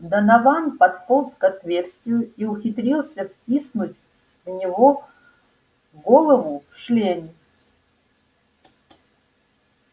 донован подполз к отверстию и ухитрился втиснуть в него голову в шлеме